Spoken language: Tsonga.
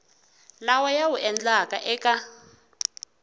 lawa ya wu endlaka eka